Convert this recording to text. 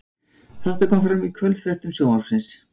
Þetta kom fram í kvöldfréttum Sjónvarpsins